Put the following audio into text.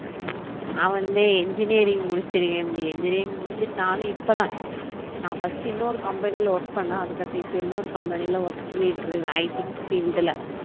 நா வந்து engineering முடிச்சுருக்கேன்டி engineering முடிச்சுட்டு நானும் இப்பதான் நான் first இன்னொரு company ல work பன்னோம் அதுக்கடுத்து இப்ப இன்னொரு company ல work பண்ணிட்டு இருக்கேன் IT ல